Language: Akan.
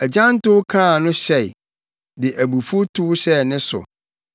Agyantowfo kaa no hyɛe, de abufuw tow hyɛɛ ne so.